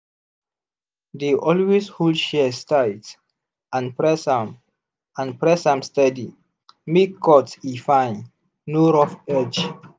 dey always hold shears tight and press am and press am steady make cut e fine no rough edge.